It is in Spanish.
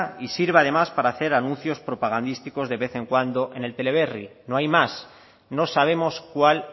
y sirve además para hacer anuncios propagandísticos de vez en cuando en el teleberri no hay más no sabemos cuál